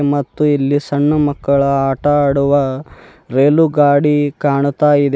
ಮತ್ತು ಇಲ್ಲಿ ಸಣ್ಣು ಮಕ್ಕಳ ಆಟ ಆಡುವ ರೈಲು ಗಾಡಿ ಕಾಣ್ತಾ ಇದೆ.